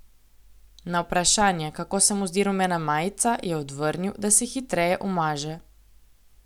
Na vprašanje, kako se mu zdi rumena majica, je odvrnil, da se hitreje umaže.